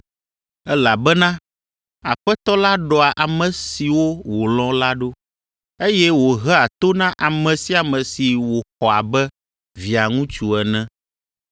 elabena Aƒetɔ la ɖɔa ame siwo wòlɔ̃ la ɖo, eye wòhea to na ame sia ame si wòxɔ abe Via ŋutsu ene.”